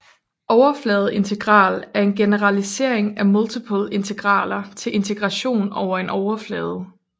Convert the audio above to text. Overfladeintegral er en generalisering af multiple integraler til integration over en overflade